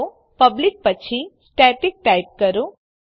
તો પબ્લિક પછી static type કરો